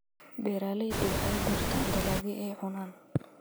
Beeraleydu waxay beertaan dalagyo ay cunaan.